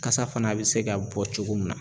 Kasa fana bɛ se ka bɔ cogo min na.